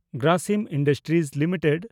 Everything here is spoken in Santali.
Grasim industries limited